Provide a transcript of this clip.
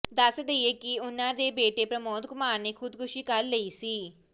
ਦੱਸ ਦਈਏ ਕਿ ਉਹਨਾਂ ਦੇ ਬੇਟੇ ਪ੍ਰਮੋਦ ਕੁਮਾਰ ਨੇ ਖੁਦਕੁਸੀ ਕਰ ਲਈ ਸੀ